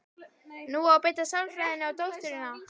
Nú á að beita sálfræðinni á dótturina.